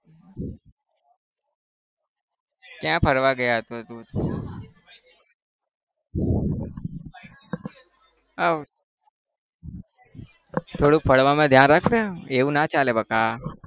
ક્યાં ફરવા ગયા હતો તું? થોડુંક पढ़वा માં ધ્યાન રાખ ને એવું ના ચાલે બકા.